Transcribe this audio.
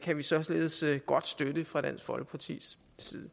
kan vi således godt støtte fra dansk folkepartis side